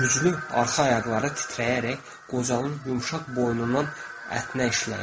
Güclü arxa ayaqları titrəyərək qocalın yumşaq boynunun ətinə işləyir.